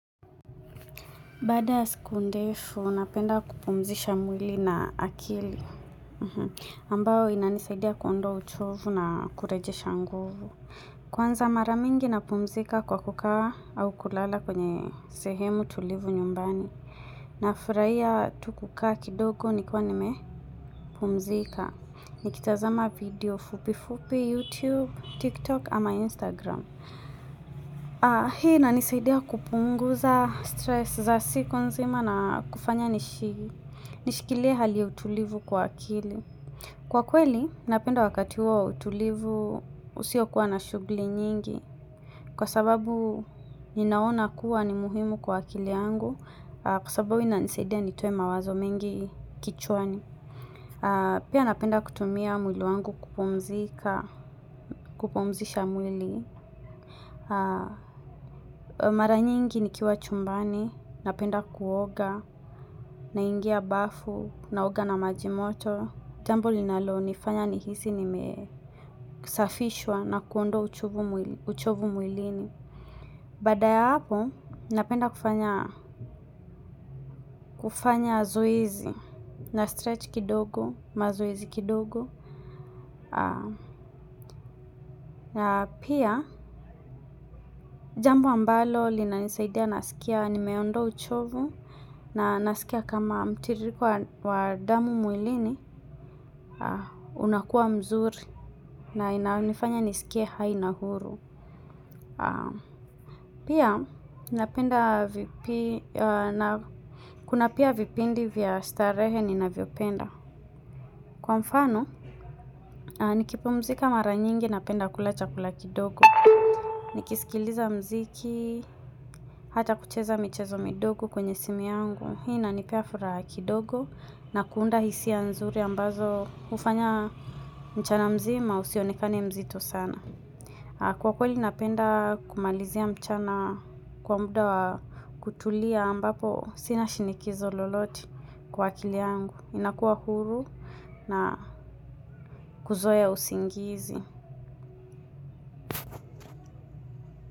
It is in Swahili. Baada ya siku ndefu, napenda kupumzisha mwili na akili ambao inanisaidia kuondoa uchovu na kurejesha nguvu kwanza mara mingi napumzika kwa kukaa au kulala kwenye sehemu tulivu nyumbani nafurahia tu kukaa kidogo nikiwa nimepumzika nikitazama video fupi fupi, youtube, tiktok ama instagram hii inanisaidia kupunguza stress za siku nzima na kufanya nishikilie hali ya utulivu kwa akili kwa kweli, napenda wakati huo wa utulivu usiokuwa na shughuli nyingi kwa sababu ninaona kuwa ni muhimu kwa akili yangu kwa sababu inanisaidia nitoe mawazo mengi kichwani pia napenda kutumia mwili wangu kupumzika, kupumzisha mwili mara nyingi nikiwa chumbani napenda kuoga naingia bafu naoga na maji moto jambo linalonifanya nihisi nimesafishwa na kuondoa uchovu mwilini baada ya hapo napenda kufanya zoezi nastretch kidogo mazoezi kidogo pia jambo ambalo linanisaidia nasikia nimeondoa uchovu na nasikia kama mtiririko wa damu mwilini, unakuwa mzuri na inafanya nisikie hainahuru. Pia, kuna pia vipindi vya starehe ninavyopenda. Kwa mfano, nikipumzika mara nyingi napenda kula chakula kidogo. Nikisikiliza mziki, hata kucheza michezo midogo kwenye simu yangu. Hii inanipea furaha kidogo na kuunda hisia nzuri ambazo hufanya mchana mzima usionekane mzito sana. Kwa kweli napenda kumalizia mchana kwa muda wa kutulia ambapo sina shinikizo lolote kwa akili yangu nakuwa huru na kuzoea usingizi.